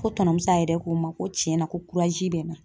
Ko tɔnɔmuso yɛrɛ ko n ma ko tiɲɛ na ko bɛ n na.